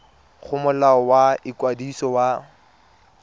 go molao wa ikwadiso wa